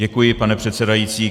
Děkuji, pane předsedající.